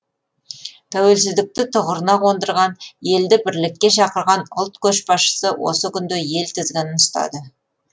тәуелсіздікті тұғырына қондырған елді бірлікке шақырған ұлт көшбасшысы осы күнде ел тізгінін ұстады